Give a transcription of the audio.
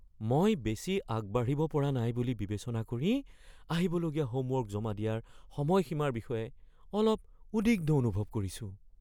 মই বেছি আগবাঢ়িব পৰা নাই বুলি বিবেচনা কৰি আহিবলগীয়া হোমৱৰ্ক জমা দিয়াৰ সময়সীমাৰ বিষয়ে অলপ উদ্বিগ্ন অনুভৱ কৰিছো।